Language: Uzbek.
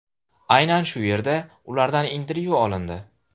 Aynan shu yerda ulardan intervyu olindi.